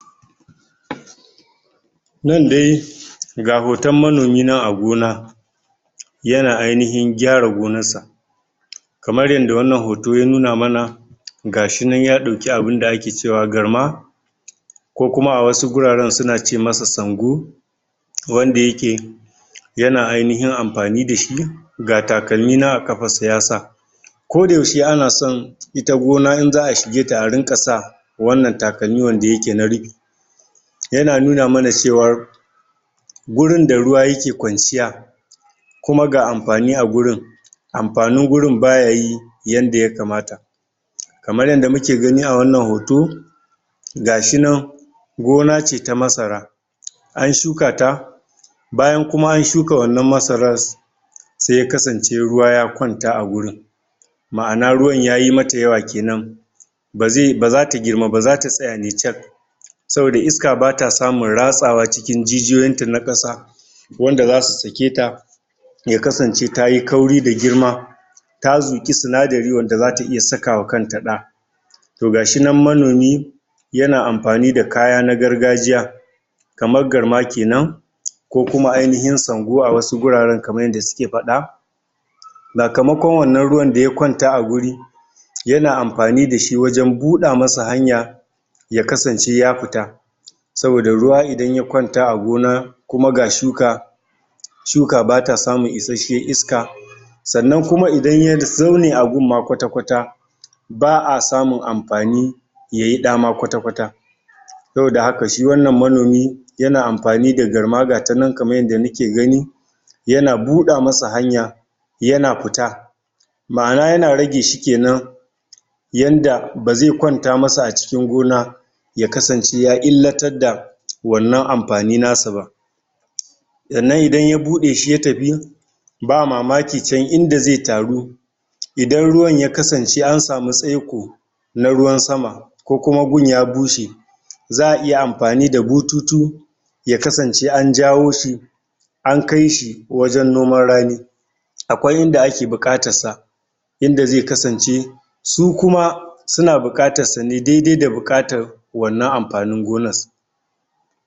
? nan de ga hoton manomi nan a gona? yana ainihin gyara gonassa? kamar yanda wannan hoto ya nuna mana gashinan ya ɗauki abinda ake cewa garma ko kuma a wasu guraren suna ce masa sango wanda yake? yana ainihin ampani dashi ga takalmi nan a kapassa yasa kodayaushe ana son ita gona in za'a shige ta a rinƙa sa wannan takalmi wanda yake na rupi yana nuna mana cewar gurin da ruwa yake kwanciya kuma ga ampani a gurin ampanin gurin baya yi yanda yakamata? kamar yanda muke gani a wannan hoto gashinan gona ce ta masara? an shuka ta bayan kuma an shuka wannan masaras sai ya kasance ruwa ya kwanta a gurin ma'ana ruwan yayi mata yawa kenan baze bazata girma ba zata tsaya ne cak saboda iska bata samun ratsawa cikin jijiyoyinta na ƙasa wanda zasu sake ta ya kasance tayi ƙauri da girma ta zuƙi sinadari wanda zata iya sakawa kanta ɗa to gashinan manomi yana ampani da kaya na gargajiya kaman garma kenan? ko kuma ainihin sango a wasu guraren kaman yanda suke paɗa sakamakon wannan ruwan da ya kwanta a guri yana ampani dashi wajen buɗa masa hanya ya kasance ya pita? saboda ruwa idan ya kwanta a gona kuma ga shuka? shuka bata samun isasshiyan iska sannan kuma idan ya zaune a gun ma kwata kwata ba'a samun ampani yayi ɗa ma kwata kwata saboda haka shi wannan manomi yana ampani da garma gatanan kaman yadda nike gani yana buɗa masa hanya yana pita ma'ana yana rage shi kenan yanda baze kwanta masa a cikin gona ya kasance ya illatar da wannan ampani nasa ba? sannan idan ya buɗe shi ya tapi ba mamaki can inda ze taru idan ruwan ya kasance an samu tsaiko na ruwan sama ko kuma gun ya bushe? za'a iya ampani da bututu ya kasance an jawo shi an kaishi wajen noman rani akwai inda ake buƙatassa inda ze kasance su kuma suna buƙatassa ne daidai da buƙatan wannan ampanin gonas